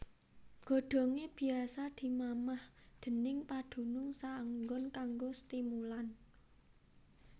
Godhongé biasa dimamah déning padunung saenggon kanggo stimulan